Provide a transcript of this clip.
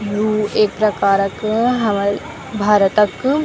यू एक प्रकारक हमर भारत क।